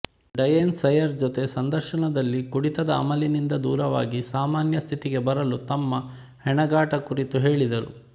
Diane Sawyer ಜತೆ ಸಂದರ್ಶನದಲ್ಲಿ ಕುಡಿತದ ಅಮಲಿನಿಂದ ದೂರವಾಗಿ ಸಾಮಾನ್ಯ ಸ್ಥಿತಿಗೆ ಬರಲು ತಮ್ಮ ಹೆಣಗಾಟ ಕುರಿತು ಹೇಳಿದರು